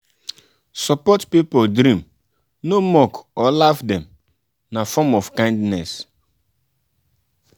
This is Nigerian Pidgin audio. support pipo dream no mock or laugh dem na form of kindness.